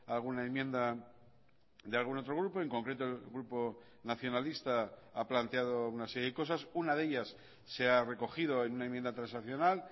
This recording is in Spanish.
alguna enmienda de algún otro grupo en concreto el grupo nacionalista ha planteado una serie de cosas una de ellas se ha recogido en una enmienda transaccional